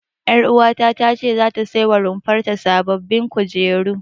Ƴaruwata ta ce zata sai wa rumfar ta sababbin kujeru.